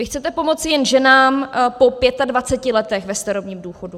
Vy chcete pomoci jen ženám po 25 letech ve starobním důchodu.